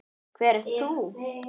Hver ert þú?